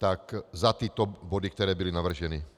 Tak za tyto body, které byly navrženy.